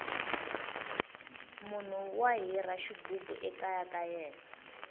munhu wa hira xighubu ekaya ka yena